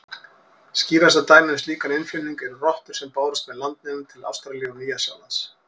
Skýrasta dæmið um slíkan innflutning eru rottur sem bárust með landnemum til Ástralíu og Nýja-Sjálands.